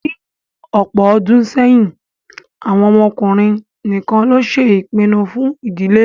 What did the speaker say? Ní ọ̀pọ̀ ọdún sẹ́yìn, àwọn ọkùnrin nìkan ló ṣe ìpinnu fún ìdílé